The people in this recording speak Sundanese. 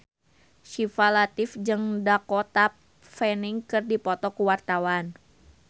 Syifa Latief jeung Dakota Fanning keur dipoto ku wartawan